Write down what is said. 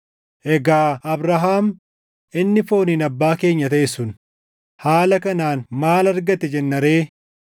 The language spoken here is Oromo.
Egaa Abrahaam inni fooniin abbaa keenya taʼe sun haala kanaan maal argate jenna ree?